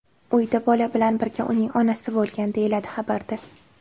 Uyda bola bilan birga uning onasi bo‘lgan”, deyiladi xabarda.